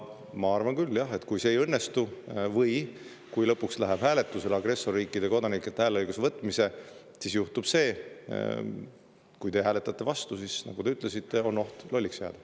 Ma arvan küll, jah, et kui lõpuks läheb hääletusele agressorriikide kodanikelt hääleõiguse võtmine, ja kui te hääletate vastu, siis, nagu te ütlesite, on oht lolliks jääda.